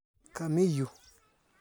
Kamii yu.